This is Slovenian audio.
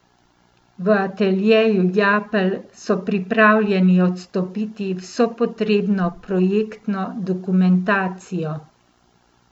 V Ateljeju Japelj so pripravljeni odstopiti vso potrebno projektno dokumentacijo.